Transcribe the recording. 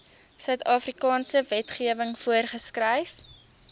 suidafrikaanse wetgewing voorgeskryf